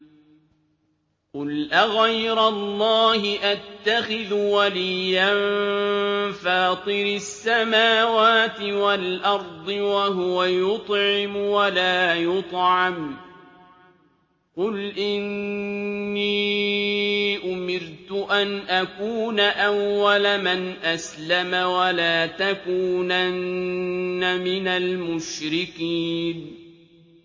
قُلْ أَغَيْرَ اللَّهِ أَتَّخِذُ وَلِيًّا فَاطِرِ السَّمَاوَاتِ وَالْأَرْضِ وَهُوَ يُطْعِمُ وَلَا يُطْعَمُ ۗ قُلْ إِنِّي أُمِرْتُ أَنْ أَكُونَ أَوَّلَ مَنْ أَسْلَمَ ۖ وَلَا تَكُونَنَّ مِنَ الْمُشْرِكِينَ